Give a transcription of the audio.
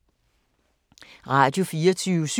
Radio24syv